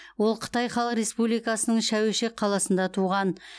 ол қытай халық республикасының шәуешек қаласында туған